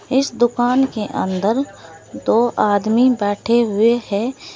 इस दुकान के अंदर दो आदमी बैठे हुए हैं।